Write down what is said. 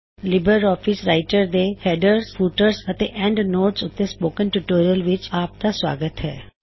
Libre office Writer ਦੇ headers footers ਅਤੇ endnotes headers footers and endnotes ਉੱਤੇ ਸਪੋਕਨ ਟਿਊਟੋਰਿਯਲ ਵਿੱਚ ਆਪ ਦਾ ਸੁਆਗਤ ਹੇ